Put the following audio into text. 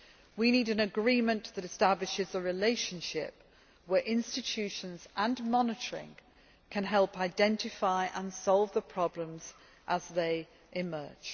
We need an agreement that establishes a relationship where institutions and monitoring can help identify and solve the problems as they emerge.